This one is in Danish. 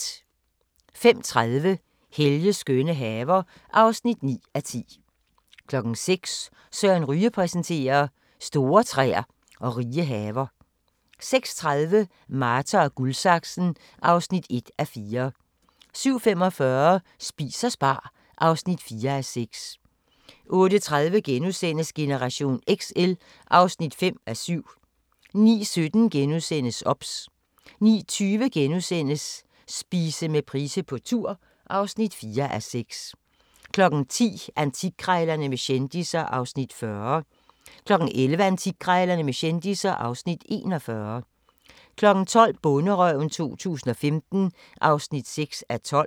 05:30: Helges skønne haver (9:10) 06:00: Søren Ryge præsenterer: Store træer og rige haver 06:30: Marta & Guldsaksen (1:4) 07:45: Spis og spar (4:6) 08:30: Generation XL (5:7)* 09:17: OBS * 09:20: Spise med Price på tur (4:6)* 10:00: Antikkrejlerne med kendisser (Afs. 40) 11:00: Antikkrejlerne med kendisser (Afs. 41) 12:00: Bonderøven 2015 (6:12)